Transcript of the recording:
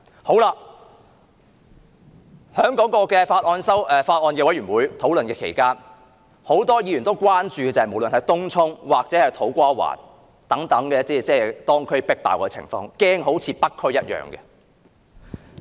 在法案委員會討論期間，很多委員關注東涌或土瓜灣等地旅客"迫爆"的情況，擔心該等地區會成為另一個北區。